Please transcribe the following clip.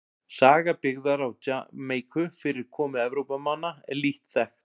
Saga byggðar á Jamaíku fyrir komu Evrópumanna er lítt þekkt.